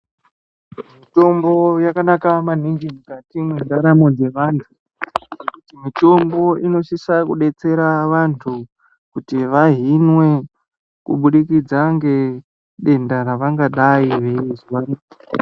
Mitombo yakanaka maninigi mukati mwendaramo dzevantu mitombo inosisa kudetsera vantu kuti vahinwe kubudikidza ngedenda ravangadayi veizwa.